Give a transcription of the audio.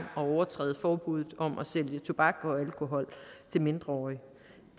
at overtræde forbuddet om at sælge tobak og alkohol til mindreårige